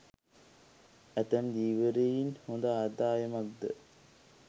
ඇතැම් ධීවරයන් හොඳ ආදායමක්ද